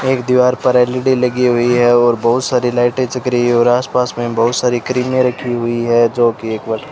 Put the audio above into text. एक दीवार पर एल_ई_डी लगी हुई है और बहुत सारी लाइटें जग रही है और आसपास में बहुत सारी क्रीमें रखी हुई है जो की एक बार--